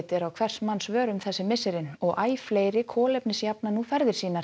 er á hvers manns vörum þessi misserin og æ fleiri kolefnisjafna nú ferðir sínar